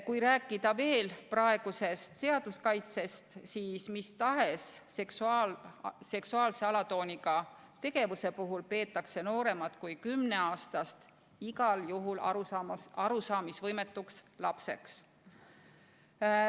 Kui rääkida veel praegusest seaduskaitsest, siis mis tahes seksuaalse alatooniga tegevuse puhul peetakse nooremat kui kümneaastast igal juhul arusaamisvõimetuks lapseks.